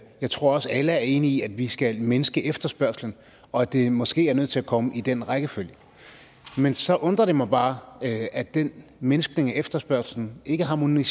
jeg tror også at alle er enige i at vi skal mindske efterspørgslen og at det måske er nødt til at komme i den rækkefølge men så undrer det mig bare at at den mindskning af efterspørgslen ikke harmonerer